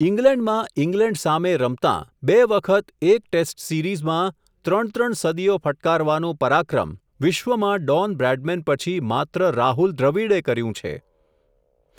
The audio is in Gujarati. ઇંગ્લેન્ડમાં ઇંગ્લેન્ડ સામે રમતાં, બે વખત એક ટેસ્ટ સિરીઝમાં, ત્રણ ત્રણ સદીઓ ફટકારવાનું પરાક્રમ, વિશ્વમાં ડોન બ્રેડમેન પછી માત્ર રાહુલ દ્રવિડે કર્યું છે.